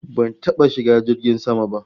Ban taba shiga jirgin sama ba